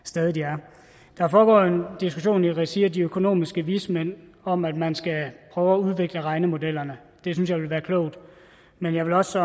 stadig de er der foregår en diskussion i regi af de økonomiske vismænd om at man skal prøve at udvikle regnemodellerne det synes jeg ville være klogt men jeg vil også